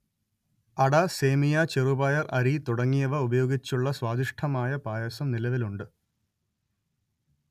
അട സേമിയ ചെറുപയർ അരി തുടങ്ങിയവ ഉപയോഗിച്ചുള്ള സ്വാദിഷ്ഠമായ പായസം നിലവിലുണ്ട്